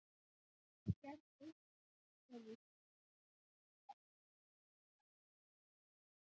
Gerð eitt er viðkvæmust, brennur alltaf en verður aldrei brún.